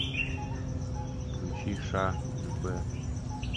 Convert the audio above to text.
включи ша любэ